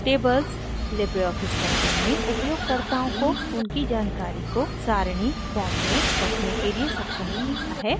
tables LibreOffice writer में उपयोगकर्ताओं को उनकी जानकारी को सारणी form में रखने के लिए सक्षम बनाता है